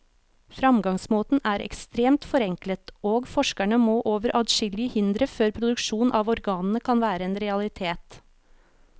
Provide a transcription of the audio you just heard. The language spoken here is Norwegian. Fremgangsmåten er ekstremt forenklet, og forskerne må over adskillige hindre før produksjon av organene kan være en realitet.